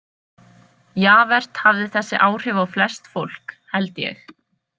Javert hafði þessi áhrif á flest fólk, held ég.